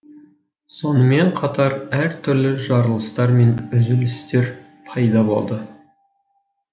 сонымен қатар әр түрлі жарылыстар мен үзілістер пайда болады